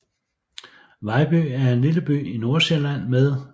Vejby er en lille by i Nordsjælland med